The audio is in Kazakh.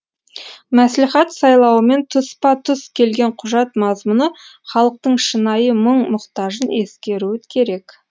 мәслихат сайлауымен тұспа тұс келген құжат мазмұны халықтың шынайы мұң мұқтажын ескеруі керек